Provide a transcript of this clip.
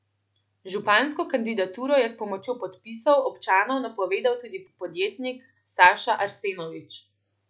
Župansko kandidaturo je s pomočjo podpisov občanov napovedal tudi podjetnik Saša Arsenovič.